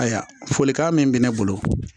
Ayiwa folikan min bɛ ne bolo